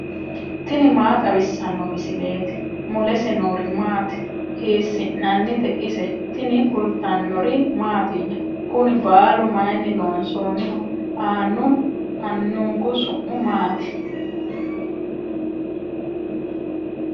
tini maa xawissanno misileeti ? mulese noori maati ? hiissinannite ise ? tini kultannori mattiya? Kunni baallu mayinni loonsoonniho? aanu anunku su'mi maatti?